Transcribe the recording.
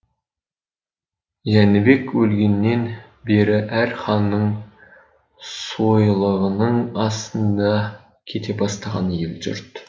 жәнібек өлгеннен бері әр ханның сойылығының астында кете бастаған ел жұрт